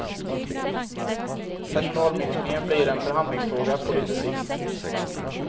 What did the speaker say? Personalminskningen blir en förhandlingsfråga på lite sikt.